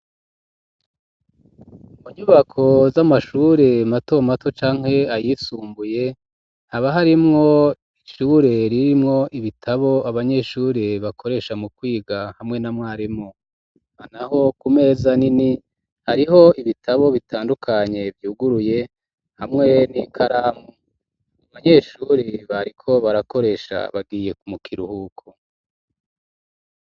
Mu nyubako z'amashure matomato canke ayisumbuye haba harimwo icure ririmwo ibitabo abanyeshuri bakoresha mu kwiga hamwe namwarimu ana ho ku meza nini hariho ibitabo bitandukanye vyuguruye hamweni ikaramu ma banyeshuri bariko barakoresha bagiye kumukira uhuko.